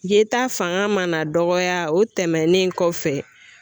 Ye ta fanga mana dɔgɔya, o tɛmɛnen kɔfɛ,